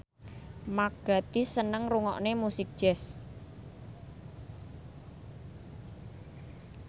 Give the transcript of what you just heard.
Mark Gatiss seneng ngrungokne musik jazz